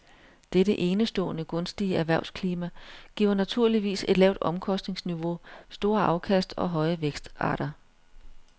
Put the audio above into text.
Dette enestående gunstige erhvervsklima giver naturligvis et lavt omkostningsniveau, store afkast og høje vækstrater.